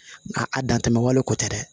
Nka a dan tɛmɛn wale kɔ tɛ dɛ